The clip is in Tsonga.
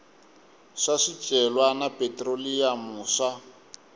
swa swicelwa na phetroliyamu swa